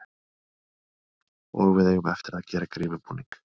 Og við eigum eftir að gera grímubúning.